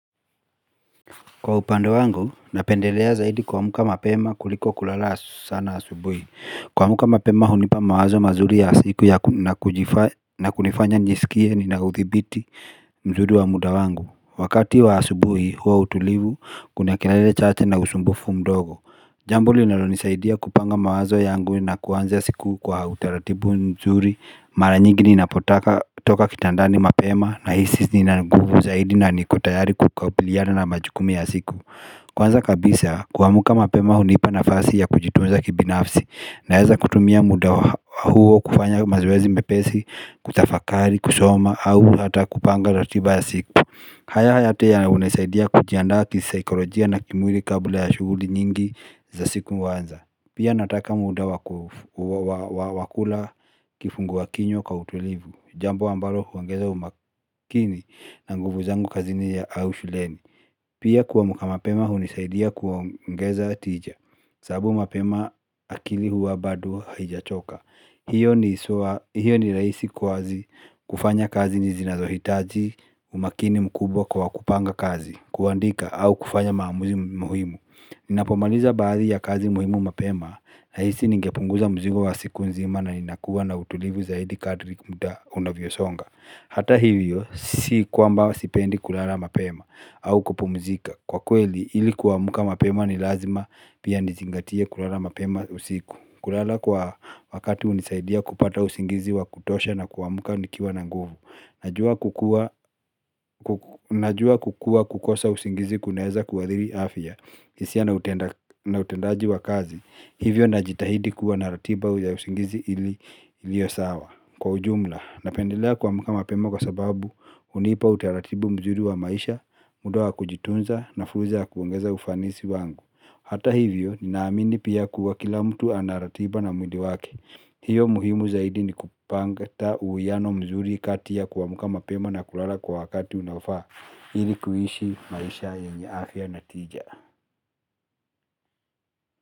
Kwa upande wangu, napendelea zaidi kuamka mapema kuliko kulala sana asubuhi. Kuamka mapema hunipa mawazo mazuri ya siku na kunifanya nisikie nina uthibiti mzuri wa muda wangu. Wakati wa asubuhi huwa utulivu, kuna kelele chache na usumbufu mdogo Jambo linalonisaidia kupanga mawazo yangu na kuanza siku kwa utaratibu mzuri. Mara nyingi ninapotoka kitandani mapema nahisi nina nguvu zaidi na niko tayari kukabiliana na majukumu ya siku Kwanza kabisa kuamka mapema hunipa nafasi ya kujitunza kibinafsi. Naweza kutumia muda huo kufanya mazoezi mepesi, kutafakari, kusoma au hata kupanga ratiba ya siku. Haya yote hunisaidia kujiandaa kisaikolojia na kimwili kabla ya shughuli nyingi za siku huanza. Pia nataka muda wa wa kula kifungua kinywa kwa utulivu Jambo ambalo huongeza umakini na nguvu zangu kazini au shuleni Pia kuamka mapema hunisaidia kuongeza tija sababu mapema akili huwa bado haijachoka. Hiyo ni hiyo ni rahisi kufanya kazi zinazohitaji umakini mkubwa kwa kupanga kazi kuandika au kufanya maamuzi muhimu ninapomaliza baadhi ya kazi muhimu mapema nahisi ningepunguza mzigo wa siku nzima na ninakuwa na utulivu zaidi kadiri muda unavyosonga. Hata hivyo, si kwamba sipendi kulala mapema au kupumzika. Kwa kweli, ili kuamka mapema ni lazima pia nizingatie kulala mapema usiku. Kulala kwa wakati hunisaidia kupata usingizi wa kutosha na kuamka nikiwa na nguvu. Najua kukuwa Najua kukuwa kukosa usingizi kunaweza kuathiri afya hisia na utendaji wa kazi hivyo najitahidi kuwa na ratiba ya usingizi iliyo sawa. Kwa ujumla, napendelea kuamka mapema kwa sababu hunipa utaratibu mzuri wa maisha muda wa kujitunza na fursa ya kuongeza ufanisi wangu. Hata hivyo, ninaamini pia kuwa kila mtu ana ratiba na mwili wake hiyo muhimu zaidi ni kupanga uwiano mzuri kati ya kuamka mapema na kulala kwa wakati unaofaa ili kuishi maisha yenye afya na tija.